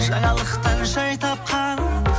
жаңалықтан жай тапқан